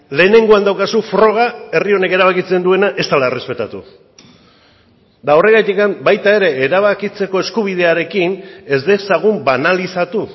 lehenengoan daukazu froga herri honek erabakitzen duena ez dela errespetatu eta horregatik baita ere erabakitzeko eskubidearekin ez dezagun banalizatu